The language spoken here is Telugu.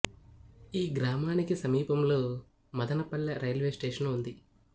ఈ గ్రామానికి సమీపములో మదన పల్లె రైల్వే స్టేషను ఉంది